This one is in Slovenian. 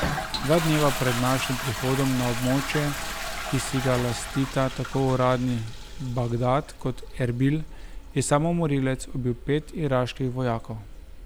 Dva dneva pred našim prihodom na območje, ki si ga lastita tako uradni Bagdad kot Erbil, je samomorilec ubil pet iraških vojakov.